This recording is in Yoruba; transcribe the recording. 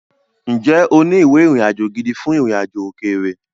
Ǹjẹ́ o ní ìwé ìrìnàjò gidi fún ìrìnàjò òkèèrè?